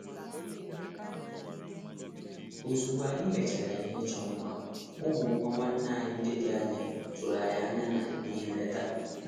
Ozugbo anyị mechara ihe ịchọ mma, ụmụ nwa nwanne anyi ndi dị anya tụrụ anyị anya na ihe nleta.